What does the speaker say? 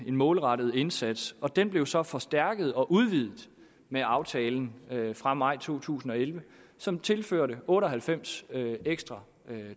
målrettet indsats og den blev så forstærket og udvidet med aftalen fra maj to tusind og elleve som tilførte otte og halvfems ekstra